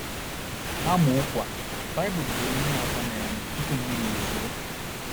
N’amaokwu a, Baịbụl kwuru ihe atọ na - eme tupu mmiri ezoo.